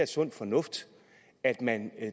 sund fornuft at man